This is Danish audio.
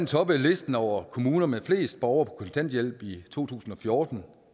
toppede listen over kommuner med flest borgere på kontanthjælp i to tusind og fjorten